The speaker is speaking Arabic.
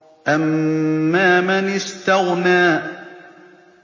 أَمَّا مَنِ اسْتَغْنَىٰ